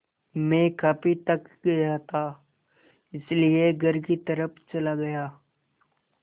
मैं काफ़ी थक गया था इसलिए घर की तरफ़ चला गया